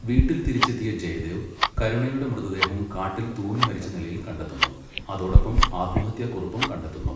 വീട്ടിൽ തിരിച്ചെത്തിയ ജയദേവ്, കരുണയുടെ മൃതദേഹം കാട്ടിൽ തൂങ്ങിമരിച്ച നിലയിൽ കണ്ടെത്തുന്നു, അതോടൊപ്പം ആത്മഹത്യക്കുറിപ്പും കണ്ടെത്തുന്നു.